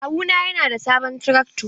Kawuna yana da sabon trakto.